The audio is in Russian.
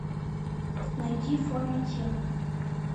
найди форма тел